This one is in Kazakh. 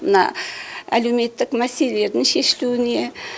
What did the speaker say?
мына әлеуметтік мәселелердің шешілуне